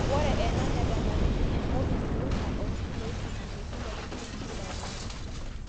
ore ena netemakini enkop nalulunga aa irkiloi tomon te kila oltungani kila olari